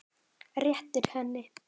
Réttir henni.